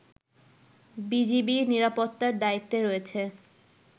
BGB নিরাপত্তার দায়িত্বে রয়েছে